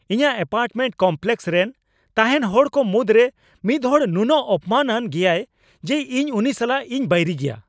ᱤᱧᱟᱹᱜ apartment complex ᱨᱮᱱ ᱛᱟᱦᱮᱱ ᱦᱚᱲ ᱠᱚ ᱢᱩᱫᱨᱮ ᱢᱤᱫᱦᱚᱲ ᱱᱩᱱᱟᱹᱜ ᱚᱯᱚᱢᱟᱱ ᱼᱟᱱ ᱜᱮᱭᱟᱭ ᱡᱮ ᱤᱧ ᱩᱱᱤ ᱥᱟᱞᱟᱜ ᱤᱧ ᱵᱟᱹᱭᱨᱤ ᱜᱮᱭᱟ ᱾